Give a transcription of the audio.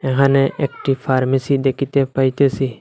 এখানে একটি ফার্মেসি দেখিতে পাইতেসি।